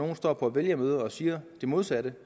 der står på vælgermøder og siger det modsatte